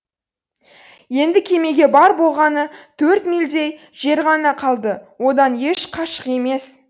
енді кемеге бар болғаны төрт милльдей жер ғана қалды одан еш қашық емес